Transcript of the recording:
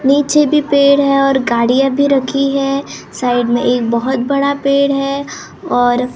नीचे भी पेड़ है और गाड़ियां भी रखी है साइड में एक बहोत बड़ा पेड़ है और--